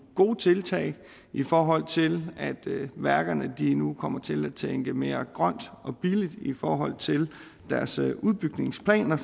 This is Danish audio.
gode tiltag i forhold til at værkerne nu kommer til at tænke mere grønt og billigt særlig i forhold til deres udbygningsplaner